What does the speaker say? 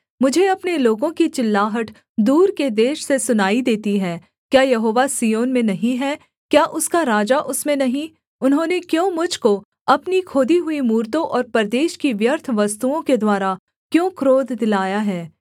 मुझे अपने लोगों की चिल्लाहट दूर के देश से सुनाई देती है क्या यहोवा सिय्योन में नहीं हैं क्या उसका राजा उसमें नहीं उन्होंने क्यों मुझ को अपनी खोदी हुई मूरतों और परदेश की व्यर्थ वस्तुओं के द्वारा क्यों क्रोध दिलाया है